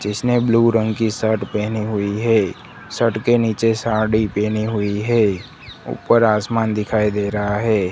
जिसमें ब्लू रंग की शर्ट पहनी हुई है शर्ट के नीचे साड़ी पहनी हुई है ऊपर आसमान दिखाई दे रहा है।